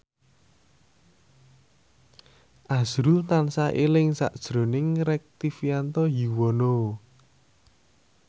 azrul tansah eling sakjroning Rektivianto Yoewono